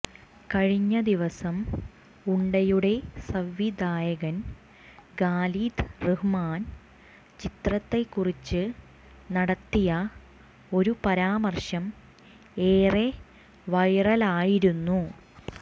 കഴിഞ്ഞദിവസം ഉണ്ടയുടെ സംവിധായകൻ ഖാലിദ് റഹ്മാൻ ചിത്രത്തെകുറിച്ച് നടത്തിയ ഒരു പരാമര്ശം ഏറെ വൈറലായിരുന്നു